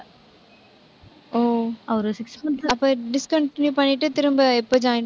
ஓ, ஒரு six month ல அப்ப discontinue பண்ணிட்டு, திரும்ப எப்ப join